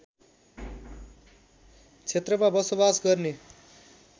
क्षेत्रमा बसोबास गर्ने